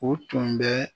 O tun bɛ